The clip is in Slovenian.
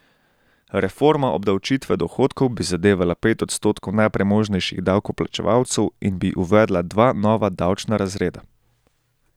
Reforma obdavčitve dohodkov bi zadevala pet odstotkov najpremožnejših davkoplačevalcev in bi uvedla dva nova davčna razreda.